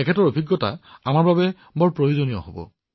তেওঁৰ অভিজ্ঞতা আমাৰ সকলোৰে বাবে যথেষ্ট উপযোগী হব